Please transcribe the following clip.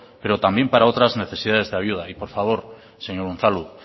pero también para otras necesidades de ayuda y por favor señor unzalu